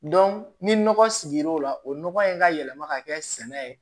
ni nɔgɔ sigir'o la o nɔgɔ in ka yɛlɛma ka kɛ sɛnɛ ye